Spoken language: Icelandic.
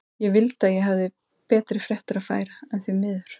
Ég vildi að ég hefði betri fréttir að færa, en því miður.